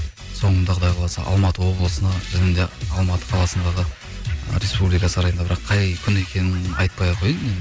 соңында құдай қаласа алматы облысына және де алматы қаласындағы ы ресупблика сарайында бірақ қай күні екенін айтпай ақ қояйын енді